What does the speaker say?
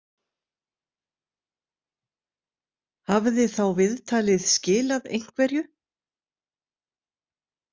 Hafði þá viðtalið skilað einhverju?